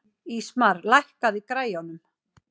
Ísmar, lækkaðu í græjunum.